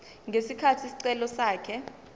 ngesikhathi isicelo sakhe